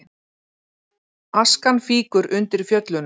Askan fýkur undir Fjöllunum